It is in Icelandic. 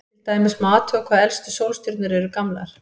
Til dæmis má athuga hvað elstu sólstjörnur eru gamlar.